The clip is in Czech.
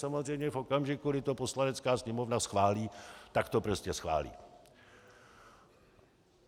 Samozřejmě v okamžiku, kdy to Poslanecká sněmovna schválí, tak to prostě schválí.